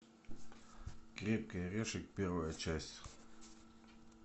крепкий орешек первая часть